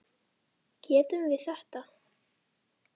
Getum við þetta?